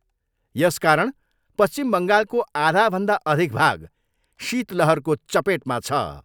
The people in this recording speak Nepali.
यसकारण पश्चिम बङ्गालको आधाभन्दा अधिक भाग शीतलहरको चपेटमा छ।